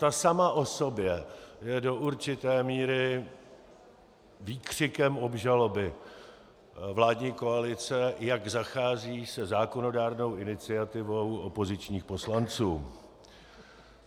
Ta sama o sobě je do určité míry výkřikem obžaloby vládní koalice, jak zachází se zákonodárnou iniciativou opozičních poslanců.